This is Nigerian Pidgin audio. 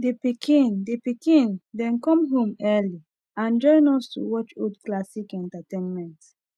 the pikin the pikin them come home early and join us to watch old classic entertainment